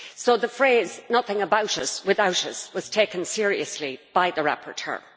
So the phrase nothing about us without us' was taken seriously by the rapporteur.